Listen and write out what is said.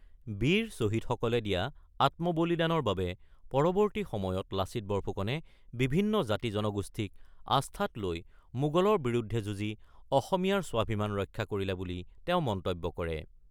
বীৰ ছহিদসকলে দিয়া আত্মবলিদানৰ বাবে পৰৱৰ্তী সময়ত লাচিত বৰফুকনে বিভিন্ন জাতি-জনগোষ্ঠীক আস্থাত লৈ মোগলৰ বিৰুদ্ধে যুঁজি অসমীয়াৰ স্বাভিমান ৰক্ষা কৰিলে বুলি তেওঁ মন্তব্য কৰে।